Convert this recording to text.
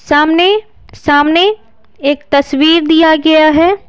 सामने सामने एक तस्वीर दिया गया है।